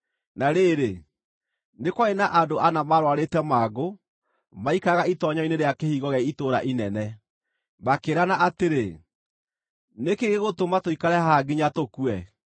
Na rĩrĩ, nĩ kwarĩ na andũ ana maarũarĩte mangũ, maaikaraga itoonyero-inĩ rĩa kĩhingo gĩa itũũra inene. Makĩĩrana atĩrĩ, “Nĩ kĩĩ gĩgũtũma tũikare haha nginya tũkue?